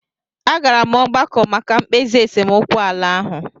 A gara m ọgbakọ maka mkpezi esemokwu ala ahụ.